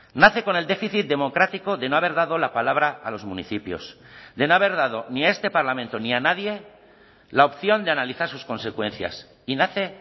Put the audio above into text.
nace con el déficit democrático de no haber dado la palabra a los municipios de no haber dado ni a este parlamento ni a nadie la opción de analizar sus consecuencias y nace